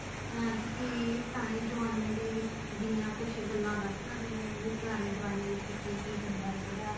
ਅਮ ਤੁਸੀਂ ਪੁਰਾਣੇ ਜਮਾਨੇ ਦੇ ਵਿੱਚ ਦੀਆਂ ਕੁੱਝ ਗੱਲਾਂ ਦੱਸ ਸਕਦੇ ਹੋ ਪੁਰਾਣੇ ਜਮਾਨੇ ਵਿੱਚ ਕੀ ਕੀ ਹੁੰਦਾ ਸੀਗਾ